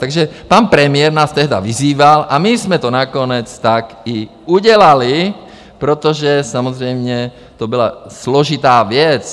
Takže pan premiér nás tehdy vyzýval a my jsme to nakonec tak i udělali, protože samozřejmě to byla složitá věc.